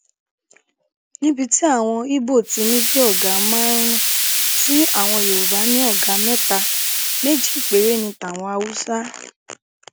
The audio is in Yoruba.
níbi tí àwọn ibo ti ní bíi ọgá márùnún ti yorùbá ní ọgá mẹta méjì péré ní tàwọn haúsá